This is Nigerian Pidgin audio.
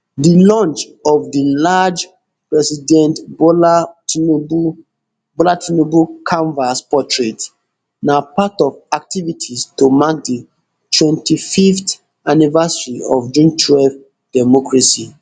di launch of di large president bola tinubu bola tinubu canvas portrait na part of activities to mark di twenty-fiveth anniversary of june twelve democracy